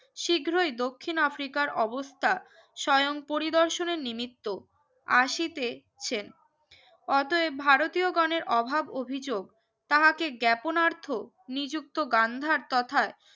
শীঘ্রই দক্ষিণ আফ্রিকার অবস্থা স্বয়ং পরিদর্শনের নিমিত্ত আসিতেছেন অতএব ভারতীয় গনের অভাব অভিযোগ তাহাকে জ্ঞাপনার্থ নিযুক্ত গান্ধার তথার